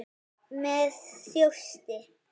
Með þjósti.